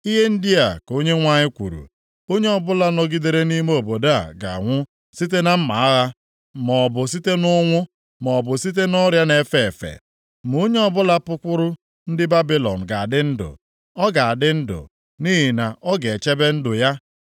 “Ihe ndị a ka Onyenwe anyị kwuru, ‘Onye ọbụla nọgidere nʼime obodo a ga-anwụ site na mma agha, maọbụ site nʼụnwụ, maọbụ site nʼọrịa na-efe efe. Ma onye ọbụla pụkwuru ndị Babilọn ga-adị ndụ. Ọ ga-adị ndụ, nʼihi na ọ ga-echebe ndụ ya.’